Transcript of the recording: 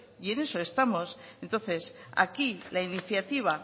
y en eso estamos entonces aquí la iniciativa